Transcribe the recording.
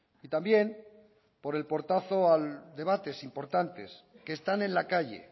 y también por el portazo a debates importantes que están en la calle